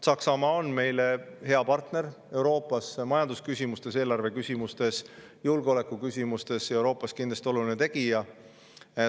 Saksamaa on meile Euroopas hea partner majandusküsimustes, eelarveküsimustes ja julgeolekuküsimustes ning Euroopas kindlasti oluline tegija.